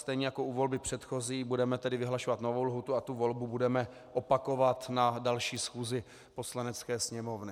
Stejně jako u volby předchozí, budeme tedy vyhlašovat novou lhůtu a tu volbu budeme opakovat na další schůzi Poslanecké sněmovny.